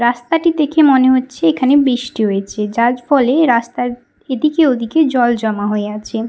রাস্তাটি দেখে মনে হচ্ছে এখানে বৃষ্টি হয়েছে যার ফলে রাস্তায় এদিকে ওদিকে জল জমা হয়ে আছে ।